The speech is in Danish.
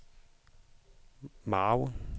margen